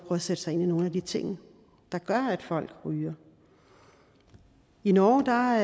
at sætte sig ind i nogle af de ting der gør at folk ryger i norge har